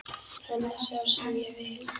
Hann er sá sem ég vil.